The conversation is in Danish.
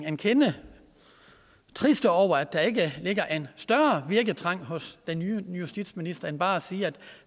en kende triste over at der ikke ligger en større virketrang hos den nye justitsminister end bare at sige at